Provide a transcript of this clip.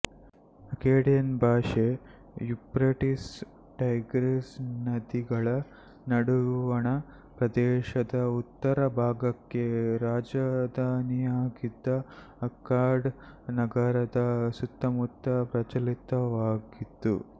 Akkadian ಭಾಷೆ Euphrates Tigris ನದಿಗಳ ನಡುವಣ ಪ್ರದೇಶದ ಉತ್ತರ ಭಾಗಕ್ಕೆ ರಾಜಧಾನಿಯಾಗಿದ್ದ ಅಕ್ಕಾಡ್ ನಗರದ ಸುತ್ತಮುತ್ತ ಪ್ರಚಲಿತವಾಗಿತ್ತು